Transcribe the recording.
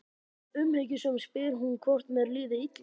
Umhyggjusöm spyr hún hvort mér líði illa.